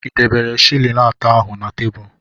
Ị debere shịlịn atọ ahu na tebụl?